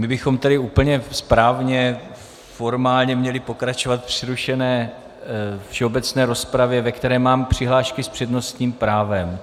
My bychom tedy úplně správně formálně měli pokračovat v přerušené všeobecné rozpravě, ve které mám přihlášky s přednostním právem.